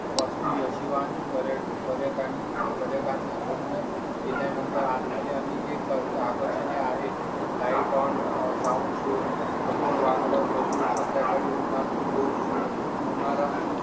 वस्तू याशिवाय पर्यटन, पर्यावरण पर्यटकांना धन्य केल्यानंतर आणि जे आणि के कर्ज आकर्षण आहे. लाइट अँड साउंड शो समोर वाघ ला दररोज संध्याकाळी होणार् होऊ शो होणारा